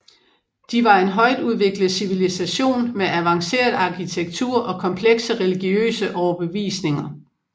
De var en højtudviklet civilisation med advanceret arkitektur og komplekse religiøse overbevisninger